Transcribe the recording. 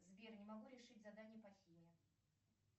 сбер не могу решить задание по химии